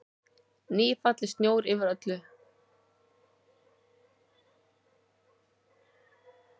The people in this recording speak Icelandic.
Nýfallinn snjór yfir öllu.